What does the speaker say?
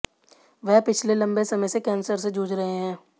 वह पिछले लंबे समय से कैंसर से जूझ रहे हैं